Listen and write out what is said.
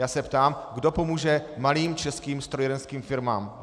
Já se ptám, kdo pomůže malým českým strojírenským firmám.